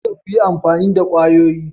Kada ku yi amfani da kwayoyi.